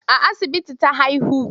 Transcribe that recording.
A asibiti ta haihu.